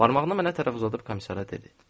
Barmağını mənə tərəf uzadıb komissara dedi: